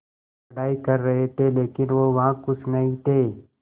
पढ़ाई कर रहे थे लेकिन वो वहां ख़ुश नहीं थे